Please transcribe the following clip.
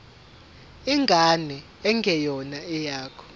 ingane engeyona eyakho